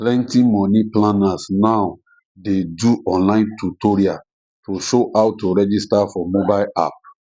plenty money planners now dey do online tutorial to show how to register for mobile app